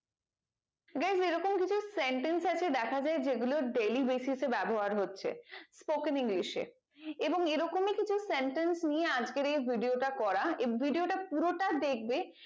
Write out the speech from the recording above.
এই রকম কিছু sentence আছে দেখা যাই যে গুলো daily basis এ ব্যবহার হচ্ছে spoken english এ এবং এরকমই কিছু sentence নিয়ে আজকের এই video টা করা এ video টা পুরোটা দেখবে